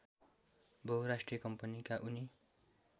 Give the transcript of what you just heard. बहुराष्ट्रिय कम्पनीका उनी